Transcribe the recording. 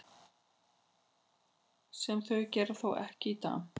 Sem þau gera þó ekki í dag.